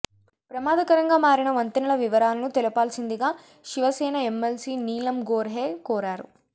ప్రమాదకరంగా మారిన వంతెనల వివరాలను తెలపాల్సిందిగా శివ సేన ఎమ్మెల్సీ నీలమ్ గోర్హే కోరారు